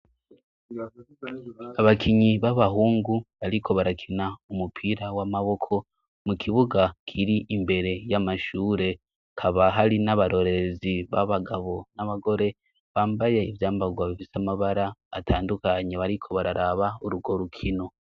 Abakinyi b'abahungu, bariko barakina umupira w'amaboko mu kibuga kiri imbere y'amashure kabah ari n'abarorezi b'abagabo n'abagore bambaye ivyambarwa bivise amabara atandukanye bariko bararaba urugo rukino.